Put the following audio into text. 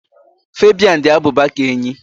Fabian dị abụba ka enyí